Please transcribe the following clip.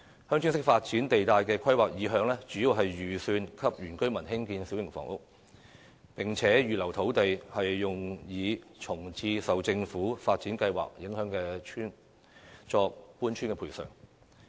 "鄉村式發展"地帶內的土地，主要預留供原居民興建小型房屋，同時預留土地用作為安置受政府發展計劃影響的村民的搬遷補償。